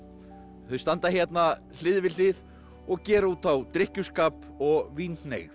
þau standa hérna hlið við hlið og gera út á drykkjuskap og